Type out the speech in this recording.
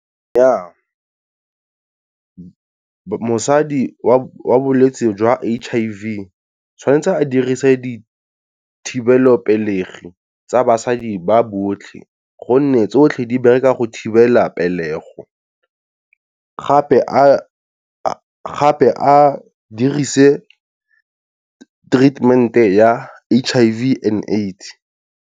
Ja mosadi wa bolwetse jwa H_I_V tshwanetse a dirise dithibelopelegi tsa basadi ba botlhe, gonne tsotlhe di bereka go thibela pelego, gape a dirise treatment ya H_I_V and AIDS.